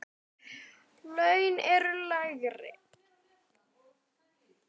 Laun eru lægri.